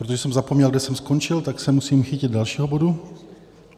Protože jsem zapomněl, kde jsem skončil, tak se musím chytit dalšího bodu.